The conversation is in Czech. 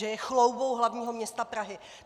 Že je chloubou hlavního města Prahy.